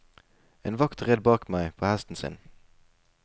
En vakt red bak meg på hesten sin.